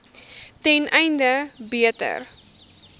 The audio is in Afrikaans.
ten einde beter